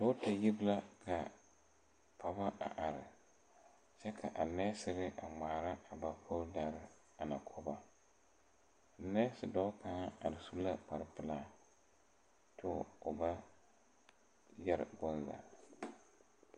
Dɔɔta yiri la ka pɔgɔ a are kyɛ ka a nɛɛserre ngmaara a ba fooldarre ana ko ba nɛɛse dɔɔ kaŋ are su la kparepilaa kyoo o ba yɛre bonzaa.